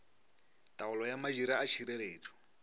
taolo ya madira a tšhireletšo